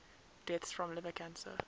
deaths from liver cancer